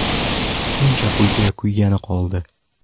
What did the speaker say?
Shuncha pulga kuygani qoldi.